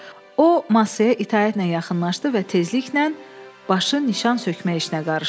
O masaya itaətlə yaxınlaşdı və tezliklə başı nişan sökmək işinə qarışdı.